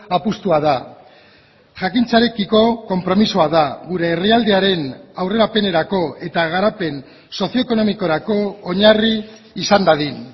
apustua da jakintzarekiko konpromisoa da gure herrialdearen aurrerapenerako eta garapen sozioekonomikorako oinarri izan dadin